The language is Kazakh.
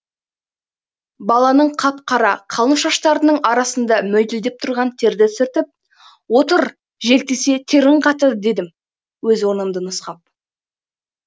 баланың қап қара қалың шаштарының арасында мөлтілдеп тұрған терді сүртіп отыр жел тисе терің қатты дедім өз орнымды нұсқап